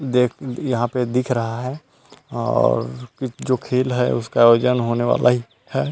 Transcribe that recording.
देख यहां पे दिख रहा है और जो खेल है उसका आयोजन होने वाला ही है।